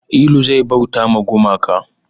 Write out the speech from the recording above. Ilu zai bauta ma gumaka